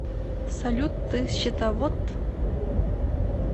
салют ты счетовод